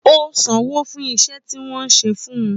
Ó sanwó fún iṣẹ́ tí wọ́n ṣe fun